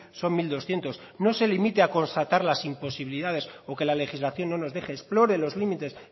son mil doscientos no se limite a constata las imposibilidades o que la legislación no nos deje explore los límites